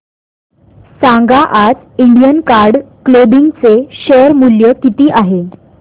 सांगा आज Indian card clothing चे शेअर मूल्य किती आहे